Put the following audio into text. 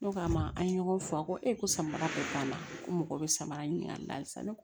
Ne k'a ma an ye ɲɔgɔn fɔ a ko e ko samara bɛɛ banna ko mɔgɔ bɛ samara ɲini ka sa ne